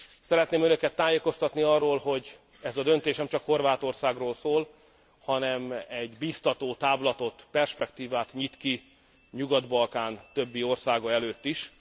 Szeretném önöket tájékoztatni arról, hogy ez a döntés nemcsak Horvátországról szól, hanem egy biztató távlatot, perspektívát nyit ki a Nyugat Balkán többi országa előtt is.